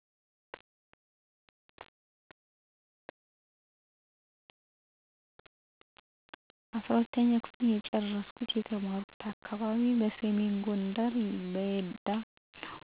12ኛ ክፍል ጨርሻለሁ የተማርኩበት አካባቢ ሰሜን ጎንደር በየዳ